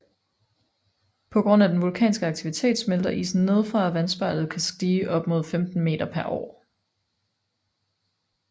På grund af den vulkanske aktivitet smelter isen nedefra og vandspejlet kan stige op til 15 m pr år